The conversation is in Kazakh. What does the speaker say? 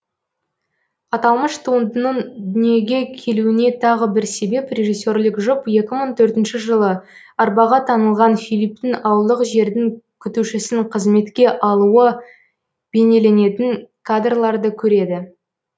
аталмыш туындының дүниеге келуіне тағы бір себеп режиссерлік жұп екі мың төртінші жылы арбаға таңылған филипптің ауылдық жердің күтушісін қызметке алуы бейнеленетін кадрларды көреді